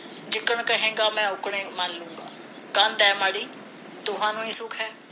ਜਿੱਦਣ ਕਹੇਗਾ ਮੈਂ ਉੱਦਣ ਮਲਲੂੰਗਾ ਕੰਧ ਐ ਮਾੜੀ ਦੋਹਾਂ ਨੂੰ ਹੀ ਦੁੱਖ ਹੈ